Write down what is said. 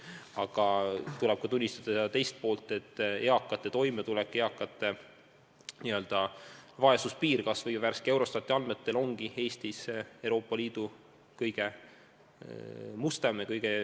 Samas tuleb tunnistada ka selle kõige teist poolt: eakate vaesus on värsketel Eurostati andmetel Eestis Euroopa Liidu kõige suurem.